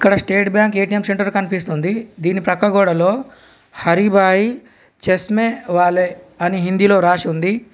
ఇక్కడ state bank ATM centre కనిపిస్తుంది దీని పక్క గోడలో హరి భాయ్ చేస్మే వాలే అని హిందీ లో రాసి ఉంది.